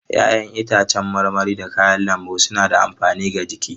Ya'yan itacen marmari da kayan lambu suna da amfani ga jiki.